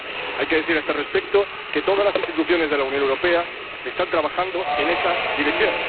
Hay que decir a este respecto que todas las instituciones de la Unión Europea están trabajando en esa dirección.